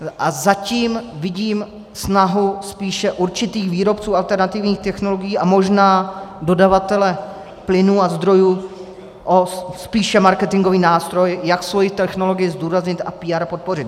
A zatím vidím snahu spíše určitých výrobců alternativních technologií a možná dodavatele plynů a zdrojů o spíše marketingový, nástroj jak svoji technologii zdůraznit a PR podpořit.